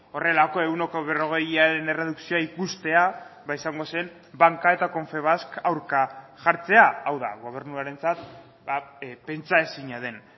horrelako ehuneko berrogeiaren erredukzioa ikustea ba izango zen banka eta confebask aurka jartzea hau da gobernuarentzat pentsaezina den